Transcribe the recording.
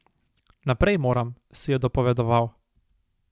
Naprej moram, si je dopovedoval.